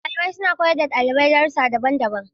Malamai suna koyar da dalibai darussa daban-daban.